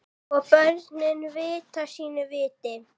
Og börn vita sínu viti.